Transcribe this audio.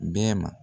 Bɛɛ ma